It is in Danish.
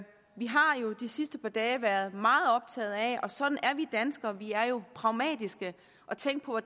vi har jo i de sidste par dage været meget optaget af og sådan er vi danskere vi er jo pragmatiske at tænke på